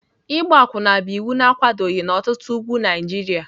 Ịgba akwụna bụ iwu na-akwadoghị n'ọtụtụ ugwu Naịjirịa.